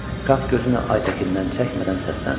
Şah gözünü Aytəkindən çəkmədən səsləndi.